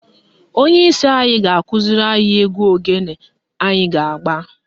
Onyeisi anyị ga-akụziri anyị egwu ogene anyị ga-agba